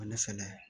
Ne fɛnɛ